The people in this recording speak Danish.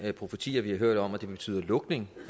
profetier vi har hørt om at det vil betyde lukning